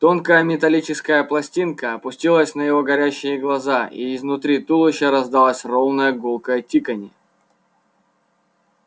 тонкая металлическая пластинка опустилась на его горящие глаза и изнутри туловища раздалось ровное гулкое тиканье